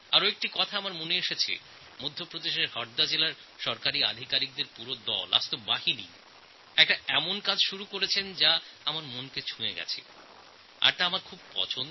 আমার আর একটি কথাও মনে পড়ছে মধ্যপ্রদেশের হরদা জেলার সরকারী আধিকারিকদের পুরো দল পুরো জেলাতে এক এমন কাজ শুরু করেছেন যা আমার মনকে ছুঁয়ে গেছে এবং তাঁদের কাজ আমার খুব পছন্দ হয়েছে